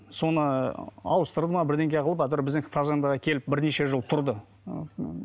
соны ауыстырда ма бірдеңе қылып әйтеуір біздің фазендаға келіп бірнеше жыл тұрды